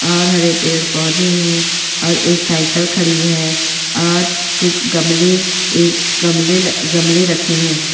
और हरे पेड़ पौधे हैं और एक साइकिल खड़ी है और कुछ गमले एक गमले-गमले रखे हैं।